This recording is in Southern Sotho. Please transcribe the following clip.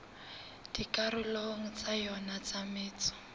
dikarolong tsa yona tsa metso